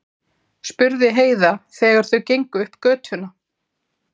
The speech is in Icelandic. spurði Heiða þegar þau gengu upp götuna.